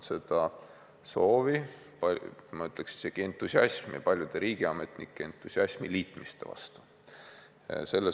See on soov või ma ütleks, isegi paljude riigiametnike entusiasm liitmiste vastu olla.